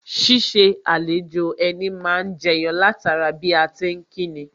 Ṣiṣẹ́ àlejò ẹni má ni jẹyọ látara bí a ti ń kíni